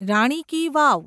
રાણી ki વાવ